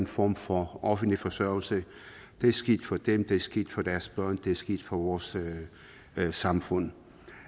form for offentlig forsørgelse det er skidt for dem det er skidt for deres børn det er skidt for vores samfund